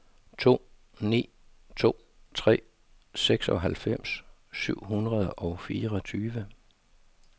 to ni to tre seksoghalvfems syv hundrede og fireogtyve